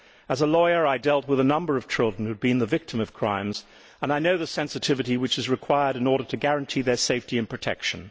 As a lawyer I dealt with a number of children who had been the victims of crimes, and I know the sensitivity which is required in order to guarantee their safety and protection.